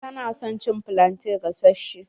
Ta na son cin flante gasashe.